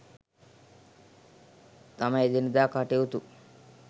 තම එදිනදා කටයුතු